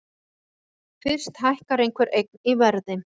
Fyrst hækkar einhver eign í verði.